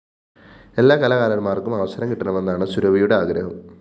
എല്ലാ കലാകാരന്മാര്‍ക്കും അവസരം കിട്ടണമെന്നാണ് സുരഭിയുടെ ആഗ്രഹം